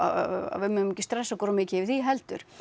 við megum ekki stressa okkur of mikið yfir því heldur